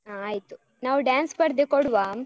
ಹಾ ಆಯ್ತು. ನಾವ್ dance ಸ್ಪರ್ಧೆ ಕೊಡ್ವ?